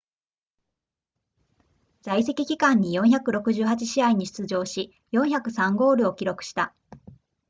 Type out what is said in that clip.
在籍期間に468試合に出場し403ゴールを記録した